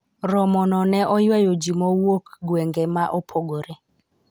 romo no ne oywayo jii mowuok gwenge ma opogore